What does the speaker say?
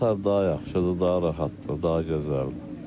Qatar daha yaxşıdır, daha rahatdır, daha gözəldir.